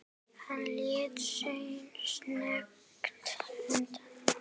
Hann leit snöggt undan.